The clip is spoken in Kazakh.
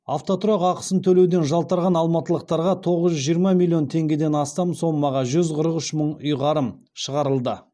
автотұрақ ақысын төлеуден жалтарған алматылықтарға тоғыз жүз жиырма миллион теңгеден астам сомаға жүз қырық үш мың ұйғарым шығарылды